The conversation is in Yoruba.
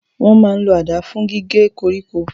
Wọ́n máa n lo àdá fún gígé koríko